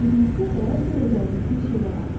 Özünüzdə dəyər verəcəyiniz bir şeylər arayın.